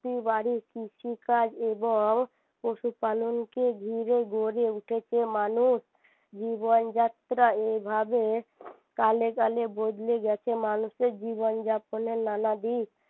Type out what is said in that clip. বাড়ির কৃষিকাজ এবং পশু পালন কে ঘিরে গড়ে উঠেছে মানুষ জীবনযাএার এভাবে কালে কালে বদলে গেছে মানুষের জীবনযাপনের নানা দিক